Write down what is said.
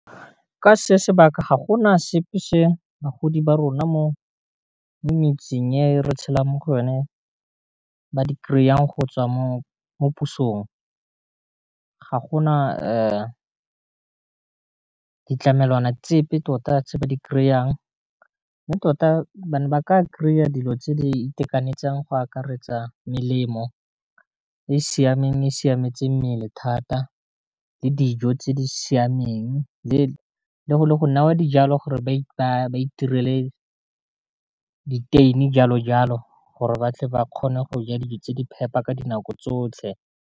Ka se sebaka ga gona sepe se bagodi ba rona mo metseng ye re tshela mo go yone ba di kry-ang go tswa mo pusong, ga gona ditlamelwana tsepe tota tse ba di kry-ang mme tota ba ne ba ka kry-a dilo tse di itekanetseng go akaretsa melemo e siameng e siametse mmele thata, le dijo tse di siameng, le go newa dijalo gore ba itirele di-tein-e jalo jalo, gore batle ba kgone go ja dijo tse di phepa ka dinako tsotlhe.